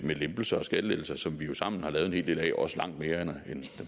med lempelser og skattelettelser som vi jo sammen har lavet en hel del af også langt mere end den